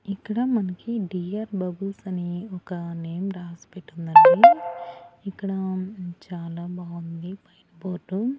ఇక్కడ మనకి dear bubbles అని ఒక నేమ్ రాసిపెట్టు ఉన్నది. ఇక్కడ ఆమ్ చాలా బాగుంది పైన బోర్డు .